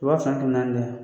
Wa fila ni kɛmɛ naani de ya